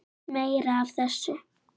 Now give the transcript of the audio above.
Meira af þessu!